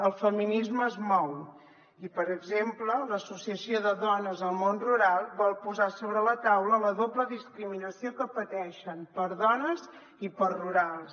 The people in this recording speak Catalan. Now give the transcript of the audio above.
el feminisme es mou i per exemple l’associació de dones del món rural vol posar sobre la taula la doble discriminació que pateixen per dones i per rurals